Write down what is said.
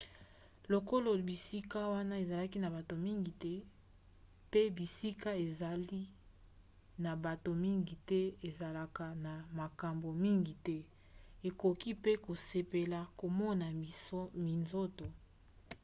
lokolo bisika wana ezalaki na bato mingi te mpe bisika ezali na bato mingi te ezalaka na makambo mingi te okoki mpe kosepela komona minzoto